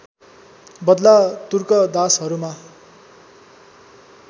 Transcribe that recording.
बदला तुर्क दासहरूमा